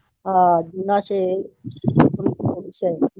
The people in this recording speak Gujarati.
હા જુના છે.